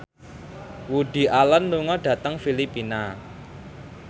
Woody Allen lunga dhateng Filipina